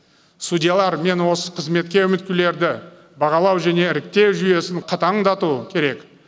судьялар мен осы қызметке үміткерлерді бағалау және іріктеу жүйесін қатаңдату керек